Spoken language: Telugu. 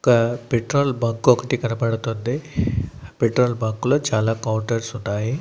ఇంకా పెట్రోల్ బంక్ ఒకటి కనపడుతుంది. పెట్రోల్ బంకులో చాలా కౌంటర్స్ ఉన్నాయి.